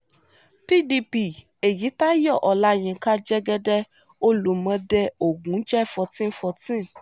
pdp èyítayọ ọláyinka jẹ́gẹ́dẹ́ olùmọdé ogun jẹ fourteen fourteen